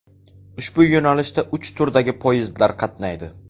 Ushbu yo‘nalishda uch turdagi poyezdlar qatnaydi.